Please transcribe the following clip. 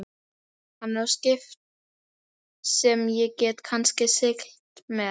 Hann á skip sem ég get kannski siglt með.